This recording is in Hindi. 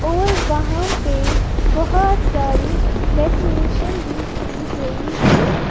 और वहां पे बहोत सारी डेकोरेशन भी की गई है।